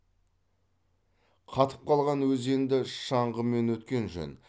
қатып қалған өзенді шаңғымен өткен жөн